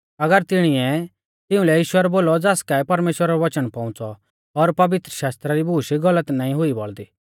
अगर तिणीऐ तिउंलै ईश्वर बोलौ ज़ास काऐ परमेश्‍वरा रौ वचन पौउंच़ौ और पवित्रशास्त्रा री बूश गलत नाईं हुई बौल़दी